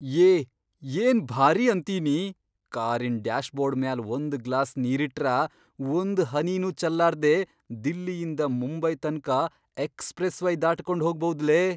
ಯೇ ಏನ್ ಭಾರಿ ಅಂತೀನಿ! ಕಾರಿನ್ ಡ್ಯಾಶ್ಬೋರ್ಡ್ ಮ್ಯಾಲ್ ಒಂದ್ ಗ್ಲಾಸ್ ನೀರಿಟ್ರ, ಒಂದ್ ಹನಿನೂ ಚಲ್ಲಾರ್ದೇ ದಿಲ್ಲಿಯಿಂದ ಮುಂಬೈ ತನ್ಕ ಎಕ್ಸ್ಪ್ರೆಸ್ವೇ ದಾಟಗೊಂಡ್ಹೋಗ್ಬೌದಲೇ.